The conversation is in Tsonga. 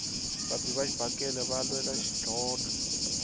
vabi va xibakele va lwela xidlhodlho